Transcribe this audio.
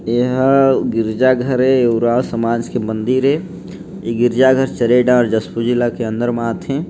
ये हा गिरजा घर ए ऊराव समाज के मंदिर ए इ गिरजा घर शहरे डहर जशपुर ज़िला के अंदर मा आथे।